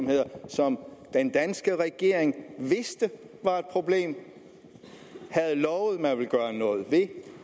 om den danske regering vidste det var et problem og havde lovet at man ville gøre noget ved det